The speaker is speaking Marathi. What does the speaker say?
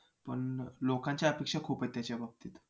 पण लोकांच्या अपेक्षा खूप आहेत त्याच्याबाबतीत